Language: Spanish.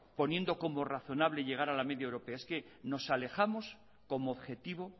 poniendo como razonable llegar a la media europea es que nos alejamos como objetivo